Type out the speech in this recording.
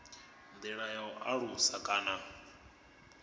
ndi ya u alusa kana